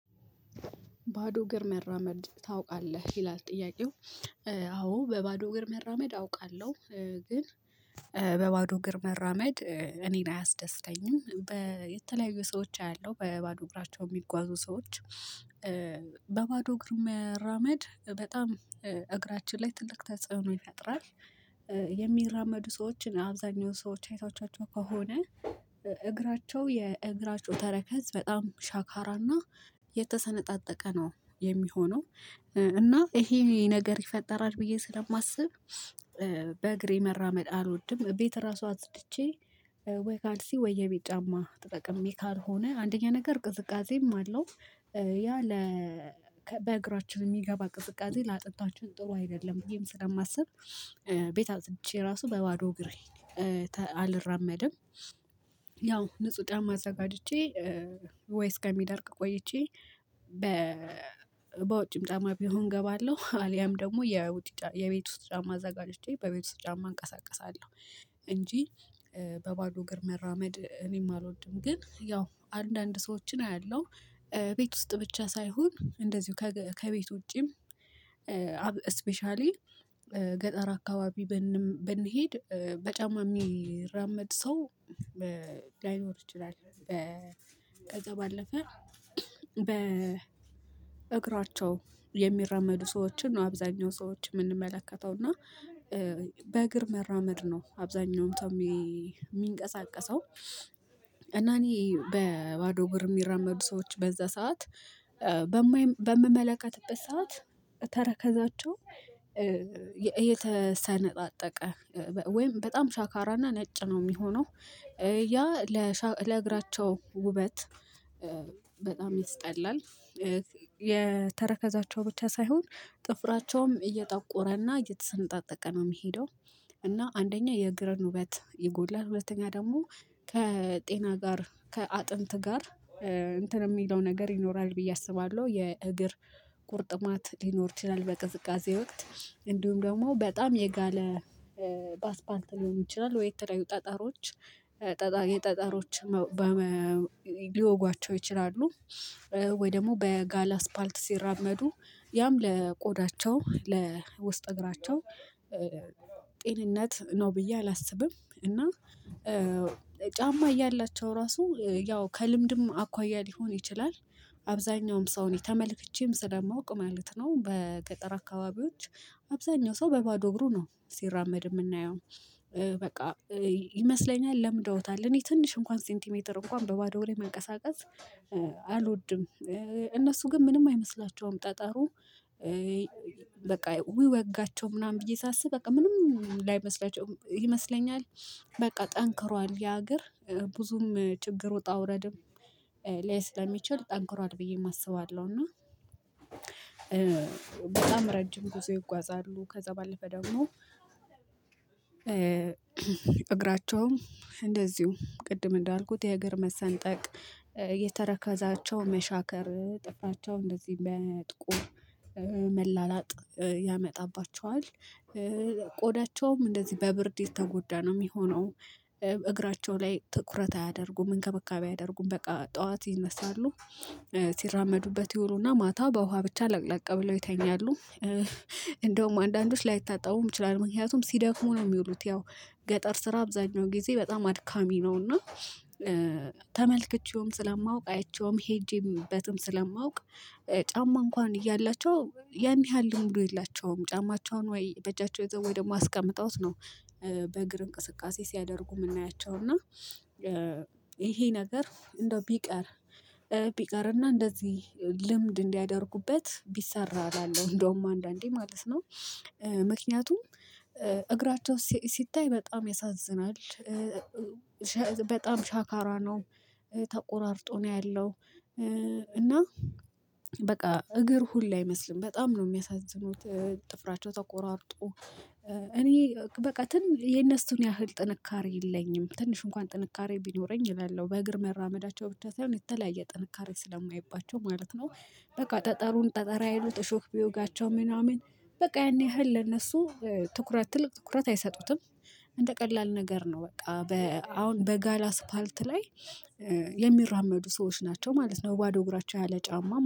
ባዶ እግር መራመድ ታውቃለህ ይላል ጥያቄው? አዎ በባዶ እግር መራመድ አውቃለሁ። ግን በባዶ እግር መራመድ እኔን አያስደስተኝም በተለያዩ ሰዎች አያለሁ በባዶ እግራቸው የሚጓዙ ሰዎች። በባዶ እግር መራመድ በጣም እግራችን ላይ ትልቅ ተጽዕኖ ይፈጥራል። የሚራመዱ ሰዎችን አብዛኛው ሰዎች አይታቸው ከሆነ እግራቸው የእግራቸው ተረከዝ በጣም ሻካራና የተሰነጣጠቀ ነው የሚሆነው እና ይሄ ነገር ይፈጠራል ብዬ ስለማስብ። በእግሬ መራመድ አልወድም ቤት ራሱ አጽድቼ ወይ ካልሲ ወይ የቤት ጫማ ተጠቅሜ ካልሆነ አንደኛ ነገር ቅዝቃዜም አለው። ያ ለ በእግራችን የሚገባ ቅዝቃዜ ለአጥንታችን ጥሩ አይደለም ብዬም ስለማስብ። ቤት አጽድቼ ራሱ በባዶ እግሬ አልራመድም። ያው ንጹህ ጫማ አዘጋጅቼ ወይ እስከሚደርቅ ቆይቼ በ በውጭም ጫማ ቢሆን እገባለሁ አልያም ደግሞ የውጭ የቤት ውስጥ ጫማ አዘጋጅቼ በቤት ውስጥ ጫማ እንቀሳቀሳለሁ። እንጂ በባዶ እግር መራመድ እኔም አልወድም ግን ያው አንዳንድ ሰዎችን አያለሁ ቤት ውስጥ ብቻ ሳይሆን እንደዚሁ ከቤት ውጪም። ስፔሻሊ ገጠር አካባቢ ብንሄድ በጫማ የሚራመድ ሰው ላይኖር ይችላል። ከዛ ባለፈ በ እግራቸው የሚራመዱ ሰዎችን ነው አብዛኛው ሰዎችን የምንመለከተው። እና በእግር መራመድ ነው አብዛኛውም ተምቼ የሚንቀሳቀሰው እና እኔ በባዶ እግር የሚራመዱ ሰዎች በዛ ሰዓት በምመለከትበት ሰዓት ተረከዛቸው የተሰነጣጠቀ ወይም በጣም ሻካራና ነጭ ነው የሚሆነው ያ ለሻ ለእግራቸው ውበት በጣም ይስጠላል። የተረከዛቸው ብቻ ሳይሆን ጥፍራቸውም እየጠቆረና እየተሰነጣጠቀ ነው የሚሄደው። እና አንደኛ የእግር ውበት ይጎድላል ሁለተኛ ደግሞ ከጤና ጋር ከአጥንት ጋር እንትን የሚለው ነገር ይኖራል ብዬ አስባለሁ። የእግር ቁርጥማት ሊኖር ይችላል በቅዝቃዜ ወቅት እንዲሁም ደግሞ በጣም የጋለ ባስፓልት ሊሆኑ ይችላል ወይ የተለያዩ ጠጠሮች ጠጠ የጠጠሮች ሊወጓቸው ይችላሉ። ወይ ደግሞ በጋለ አስፓልት ሲራመዱ ያም ለቆዳቸው ለውስጥ እግራቸው ጤንነት ነው ብዬ አላስብም። እና ጫማ እያላቸው ራሱ ያው ከልምድም አኳያ ሊሆን ይችላል አብዛኛውም ሰውን ተመልክቼም ስለማውቅ ማለት ነው። በገጠር አካባቢዎች አብዛኛው ሰው በባዶ እግሩ ነው ሲራመድ የምናየው። በቃ ይመስለኛል ለምደውታል እኔ ትንሽ እንኳን ሴንቲሜትር እንኳን በባዶ ላይ መንቀሳቀስ አልወድም። እነሱ ግን ምንም አይመስላቸውም ጠጠሩ በቃ ውይ ወጋቸው ምናምን ብዬ ሳስብ በቃ ምንም ላይመስላቸው ይመስለኛል። በቃ ጠንክሯል ያ እግር ብዙም ችግር ወጣ ውረድም ስለሚችል ጠንክሯል ብዬ አስባለሁ። እና በጣም ረጅም ብዙ ይጓዛሉ ከዛ ባለፈ ደግሞ እግራቸውም እንደዚሁ ቅድም እንዳልኩት የእግር መሰንጠቅ የተረከዛቸው መሻከር ጥፍራቸው እንደዚህ ለመጥቆር መላላጥ ያመጣባቸዋል። ቆዳቸውም እንደዚህ በብርድ የተጎዳ ነው የሚሆነው። እግራቸው ላይ ትኩረት አያደርጉም እንከብካቤ አያደርጉም በቃ ጠዋት ይነሳሉ ሲራመዱበት ይውሉና ማታ በውሃ ብቻ ለቅለቅ ብለው ይተኛሉ። እንደውም አንዳንዶች ላይታጣቡም ይችላል ምክንያቱም ሲደክሙ ነው የሚሉት ያው ገጠር ስራ አብዛኛው ጊዜ በጣም አድካሚ ነውና። ተመልክቼውም ስለማውቅ አይቼውም ሄጄበትም ስለማውቅ ጫማ እንኳን እያላቸው ያንይሃል ልምዱ የላቸውም ጫማቸውን ወይ በእጃቸው ይዘው ወይ ደግሞ አስቀምጠውት ነው። በእግር እንቅስቃሴ ሲያደርጉ የምናያቸው እና ይሄ ነገር እንደው ቢቀር ቢቀርና እንደዚህ ልምድ እንዲያደርጉበት ቢሰራ እላለሁ እንደውም አንዳንዴ ማለት ነው። ምክንያቱም እግራቸው ሲታይ በጣም ያሳዝናል። በጣም ሻካራ ነው ተቆራርጦ ነው ያለው። እና በቃ እግር ሁሉ አይመስልም በጣም ነው የሚያሳዝኑት። ጥፍራቸው ተቆራርጦ እኔ በቃ የነሱን ያህል ጥንካሬ የለኝም ትንሽ እንኳን ጥንካሬ ቢኖረኝ እላለሁ በእግር መራመዳቸው ብቻ ሳይሆን የተለያየ ጥንካሬ ስለማየባቸው ማለት ነው። በቃ ጠጠሩን ጠጠር አይሉት እሾህ ቢወጋቸው ምናምን በቃ ያን ያህል ለነሱ ትኩረት ትልቅ ትኩረት አይሰጡትም። እንደ ቀላል ነገር ነው በቃ በ አሁን በጋላ አስፓልት ላይ የሚራመዱ ሰዎች ናቸው ማለት ነው። በባዶ እግራቸው ያለ ጫማ